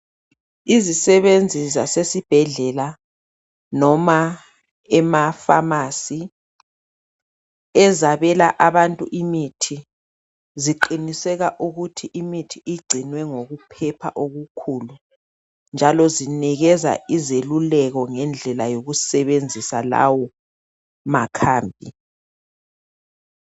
Izisebenzi zasesibhedlela noma emafamasi ezabela abantu imithi ziqiniseka ukuthi imithi igcinwe ngokuphepha okukhulu njalo zinikeza izeluleko ngendlela yokusebenzisa lawo makhambi